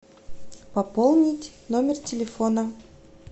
пополнить номер телефона